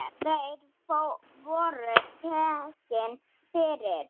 Þeir voru teknir fyrir.